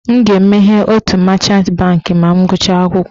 M ga-emeghe otu machant bankị ma m gụchara akwụkwọ.